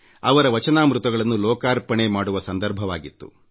ಅವರ ವಚನಾಮೃತಗಳನ್ನು ಲೋಕಾರ್ಪಣೆ ಮಾಡುವ ಸಂದರ್ಭವಾಗಿತ್ತು